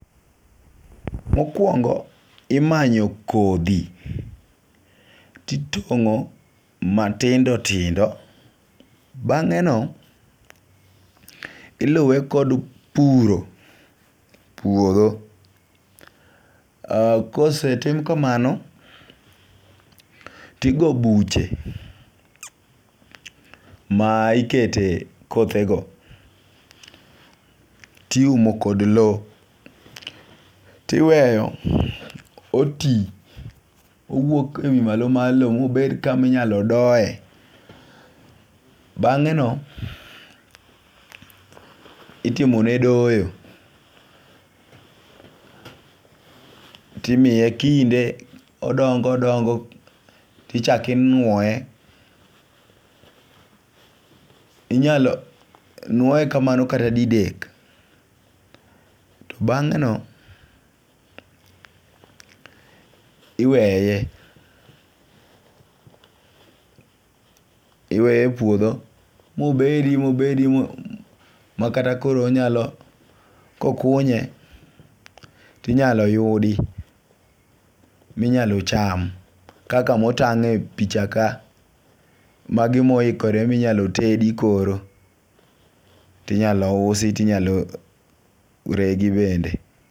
Mokuongo' imanyo kothi, titongo' matindi tindo, bange'no iluwe kod puro puotho, kosetim kamano tigo buche, ma ikete kothego tiumo kad low, tiweyo oti owuok ewi malo malo mo bet kama inyalo doye, bangeno itimone doyo, to imiye kinde odongo' odongo' to ichaki inwoye , inyalo nwoye kamano kata didek, to bange'no iweye, iweye e puotho mobedi mobedi mo makata koro onyalo kokunye to inyalo yudi minyalo cham kaka motangepicha ka magimoikore minyalo tedi koro tinyalo usi tinyalo tedi bende.